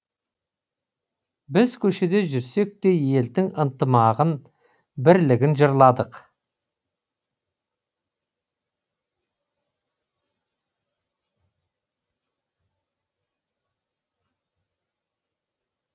біз көшеде жүрсек те елдің ынтымағын бірлігін жырладық